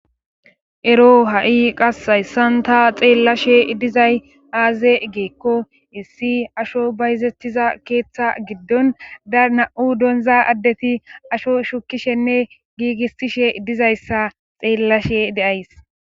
ero ha7i qass hayssan ta xeellashe dizay aaze gikko issi asho bayzettiza keeththa giddon da na7u donza addeti asho shukishenne giigisishe dizayssa xeellashe days